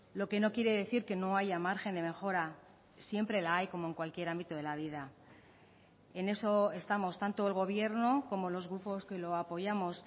lo que no quiere decir que no haya margen de mejora siempre la hay como en cualquier ámbito de la vida en eso estamos tanto el gobierno como los grupos que lo apoyamos